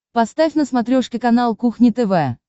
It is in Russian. поставь на смотрешке канал кухня тв